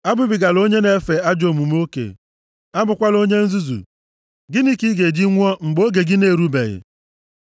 Abụbigala onye na-emefe ajọ omume oke, abụkwala onye nzuzu! Gịnị ka ị ga-eji nwụọ mgbe oge gị na-erubeghị?